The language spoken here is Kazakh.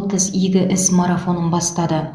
отыз игі іс марафонын бастады